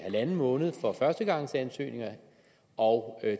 en halv måned for førstegangsansøgninger og